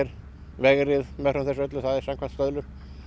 vegrið meðfram þessu öllu það er samkvæmt stöðlum